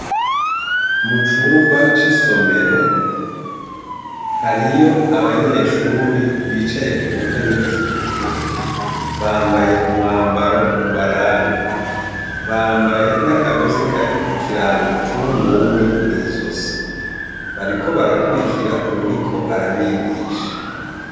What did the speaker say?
Mu cumba c'isomero, hariyo abanyeshuri bicaye ku ntebe zitukura. Bambaye umwambaro ubaranga. Bambaye n'akagozi karikw'ikirango c'umw'umwe mw'izosi. Bariko barakwirikira uwuriko arabigisha.